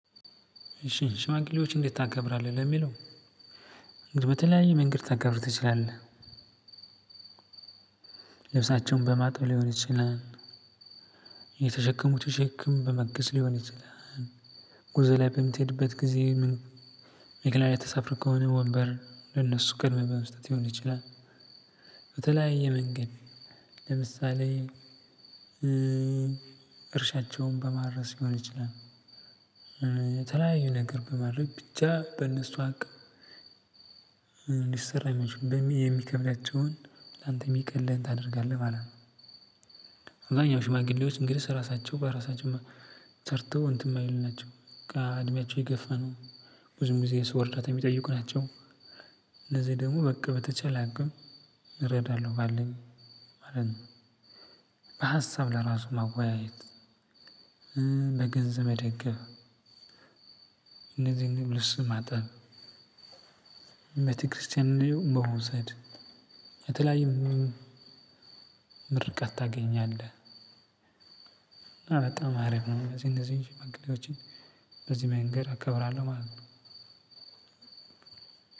እሺ ሽማግሌዎች እንዴት ታከብራለህ ለሚለው በተለያየ መንገድ ልታከብር ትችለለህ። ልብሳቸውን በማጠብ ሊሆን ይችላል። የተሸከሙትን ሸክም በማገዝ ሊሆን ይችላል። ጉዞ ላይ በምትሄዱበት ጊዜ። ወንበር ለነሱ በመልቀቅ ሊሆን ይችላል። የተለያዩ ነገሮች እርሻቸውን በማረስ ሊሆን ይችላል። የተለያዩ ነገር በማድረግ ብቻ በእነሱ አቅም ሊሰራም የሚከብዳቸውን አንተ የሚቀልህን ታደርጋለህ ማለት ነው። አብዛኛው ሽማግሌዎች እንግዲህ ስራቸው በራሳቸው ሰርተው እንትን የማይል ናቸው። እድሜያቸው የገፋ ነው። ብዙም ጊዜ ስው ርዳት የሚጠይቁ ናቸው። ደግሞ በቃ በተቸላ አቅም እረዳለሁ ባለኝ ማለት ነው። በሀሳብ ለራሱ ማወያየት በገንዘብ መደገፍ ልብስ ማጠብ ቤተክርስትያን በመውሰድ የተለያዪ ምርቃት ታገኛለህ። በጣም አረብ ነው እነዚህ እነዚህ መንገዶችን በዚህ መንገድ አከብራለሁ ማለት ነው።